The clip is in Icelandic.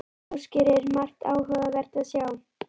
Ásgeir, er margt áhugavert að sjá?